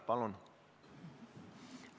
Palun!